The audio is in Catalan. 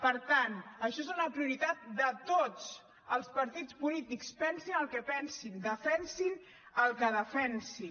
per tant això és una prioritat de tots els partit polítics pensin el que pensin defensin el que defensin